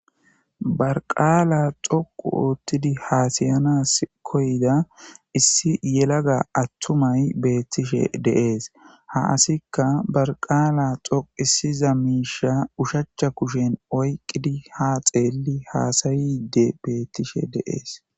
Ba qaala dhoqqu Oottidii hassayanassi kooyidda issi yelagga attumay beetishe de'es ha asikka ba qaala dhoqqisiza miishsha uushshachcha kushshen oyqidii ha xelli hassayi beetishe de'es